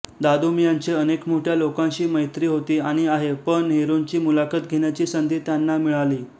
दादूमियांचे अनेक मोठ्या लोकांशी मैत्री होती आणि आहे पं नेहरूंची मुलाखत घेण्याची संधी त्यांना मिळाली